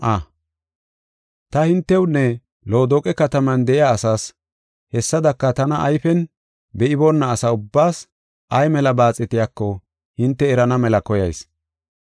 Ta hintewunne Loodoqe kataman de7iya asaas, hessadaka tana ayfen be7iboona asa ubbaas ay mela baaxetiyako hinte erana mela koyayis.